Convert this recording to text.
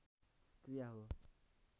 क्रिया हो